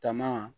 Taama